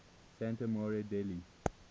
santa maria degli